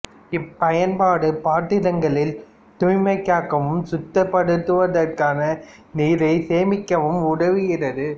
இப்பயன்பாடு பாத்திரங்களில் தூய்மை காக்கவும் சுத்தப்படுத்துவதற்கான நீரை சேமிக்கவும் உதவுகிறது